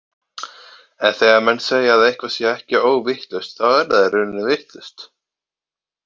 En þegar menn segja að eitthvað sé ekki óvitlaust, þá er það í rauninni vitlaust.